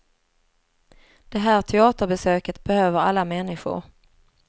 Det här teaterbesöket behöver alla människor.